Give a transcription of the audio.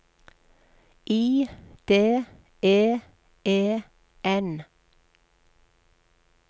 I D E E N